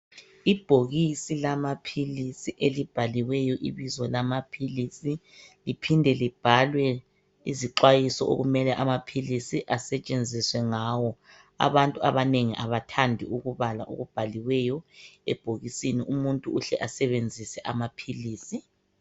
Ibhokisi lamaphilisi elibhaliweyo ibizo lamaphilisi liphinde libhalwe izixwayiso okumele amaphilisi asetshenziswe ngawo. Abantu abanengi abathandi ukubala okubhaliweyo ebhokisini, umuntu uhle asebenzise amaphilisi.